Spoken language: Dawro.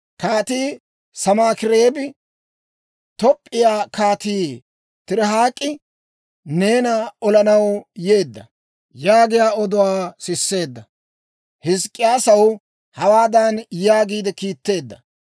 Kaatii Sanaakireebi, «Toop'p'iyaa Kaatii Tirihaak'i neena olanaw yeedda» yaagiyaa oduwaa siseedda. Hizk'k'iyaasaw hawaadan yaagi kiitteedda;